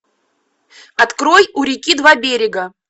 открой у реки два берега